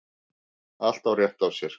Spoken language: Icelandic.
Allt á rétt á sér.